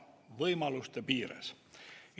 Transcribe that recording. Võimaluste piires!